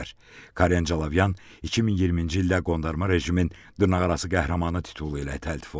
Karen Calavyan 2020-ci ildə qondarma rejimin dırnaqarası qəhrəmanı titulu ilə təltif olunub.